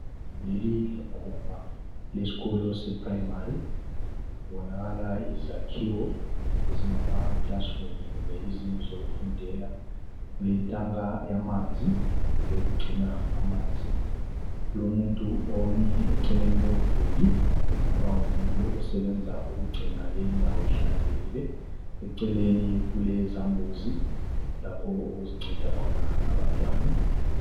leli liguma lesikolo se primary kubonakala izakhiwo ezingama classroom kumbe izindlu zokufundela kuletanga yamanzi yokugcina amanzi kulomuntu omi eceleni komduli kungaba ngumuntu osebenza ukugcina leyi indawo ihlanzekile eceleni kulezambuzi lapho okuzinceda khona abantwana